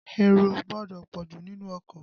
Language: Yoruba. Èrò ò gbọdọ̀ pọ̀jù nínú ọkọ̀.